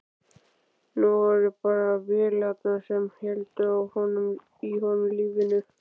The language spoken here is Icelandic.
Nú voru það bara vélarnar sem héldu í honum lífinu.